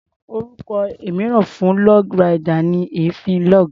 Orúkọ mìíràn fún log ride ni èéfín log.